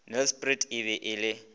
nelspruit e be e le